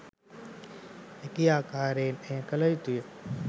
හැකි ආකාරයෙන් එය කළ යුතුය.